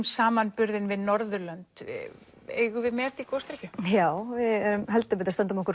samanburði við Norðurlönd eigum við met í gosdrykkju já við stöndum okkur